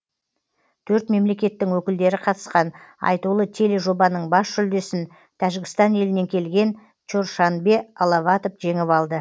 төрт мемлекеттің өкілдері қатысқан айтулы тележобаның бас жүлдесін тәжікстан елінен келген чоршанбе аловатов жеңіп алды